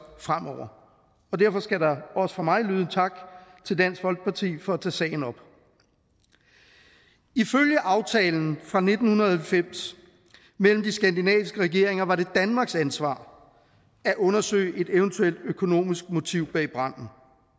fremover derfor skal der også fra mig lyde en tak til dansk folkeparti for at tage sagen op ifølge aftalen fra nitten halvfems mellem de skandinaviske regeringer var det danmarks ansvar at undersøge et eventuelt økonomisk motiv bag branden